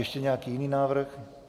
Ještě nějaký jiný návrh?